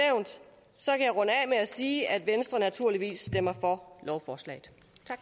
med at sige at venstre naturligvis stemmer for lovforslaget